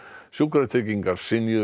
sjúkratryggingar